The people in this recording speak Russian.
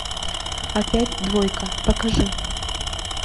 опять двойка покажи